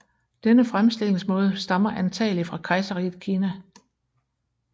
Denne fremstillingsmåde stammer antagelig fra kejserriget Kina